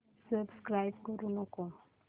subscribe करू नको